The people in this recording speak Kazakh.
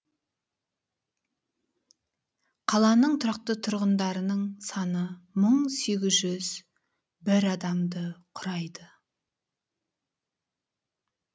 қаланың тұрақты тұрғындарының саны мың сегіз жүз бір адамды құрайды